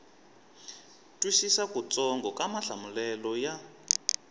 twisisa kutsongo ka mahlamulelo ya